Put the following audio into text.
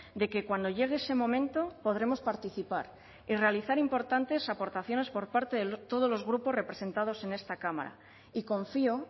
de que cuando llegue ese momento podremos participar y realizar importantes aportaciones por parte de todos los grupos representados en esta cámara y confío